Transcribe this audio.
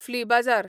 flea बाजार